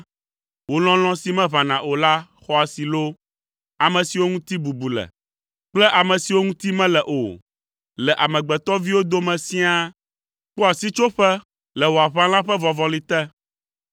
Wò lɔlɔ̃ si meʋãna o la xɔ asi loo! Ame siwo ŋuti bubu le kple ame siwo ŋuti mele o, le amegbetɔviwo dome siaa kpɔa sitsoƒe le wò aʋala ƒe vɔvɔli te.